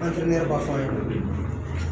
b'a fɔ an ye